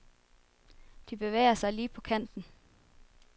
De bevæger sig lige på kanten.